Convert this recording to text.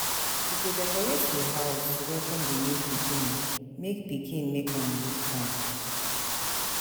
We go decorate di house to welcome di new pikin, make pikin, make am look fine.